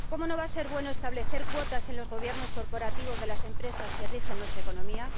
¿cómo no va a ser bueno establecer cuotas en los gobiernos corporativos de las empresas que rigen nuestra economía?